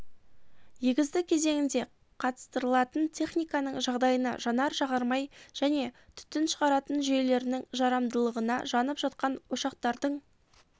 егістік кезеңінде қатыстырылатын техниканың жағдайына жанар жағармай және түтін шығаратын жүйелерінің жарамдылығына жанып жатқан ошақтардың